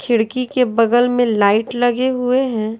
खिड़की के बगल में लाइट लगे हुए हैं।